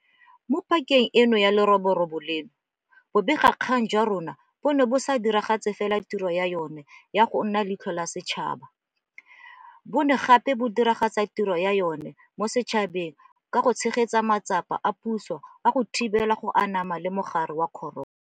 Mo pakeng ya leroborobo leno, bobegakgang jwa rona bo ne bo sa diragatse fela tiro ya jona ya go nna leitlho la setšhaba, bo ne gape go diragatsa tiro ya yona mo setšhabeng ka go tshegetsa matsapa a puso a go thibela go anama ga mogare wa corona.